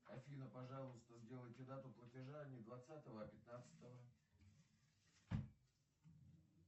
афина пожалуйста сделайте дату платежа не двадцатого а пятнадцатого